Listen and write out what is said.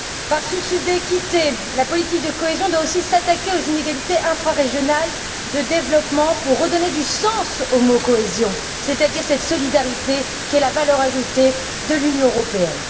Par souci d'équité, la politique de cohésion doit aussi s'attaquer aux inégalités infrarégionales de développement pour redonner du sens au mot cohésion, c'est à dire cette solidarité qui est la valeur ajoutée de l'Union européenne.